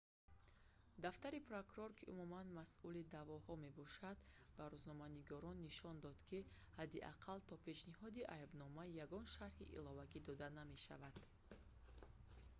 дафтари прокурор ки умуман масъули даъвоҳо мебошад ба рӯзноманигорон нишон дод ки ҳадди ақал то пешниҳоди айбнома ягон шарҳи иловагӣ дода намешавад